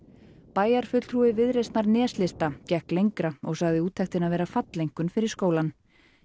bæjarfulltrúi Viðreisnar neslista gekk lengra og sagði úttektina vera falleinkunn fyrir skólann